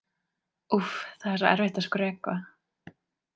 Úff, það er svo erfitt að skrökva.